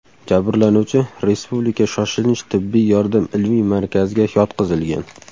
Jabrlanuvchi Respublika shoshilinch tibbiy yordam ilmiy markaziga yotqizilgan.